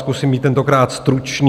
Zkusím být tentokrát stručný.